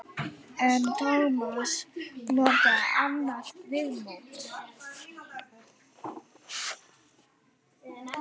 En Tómas notaði annað viðmót.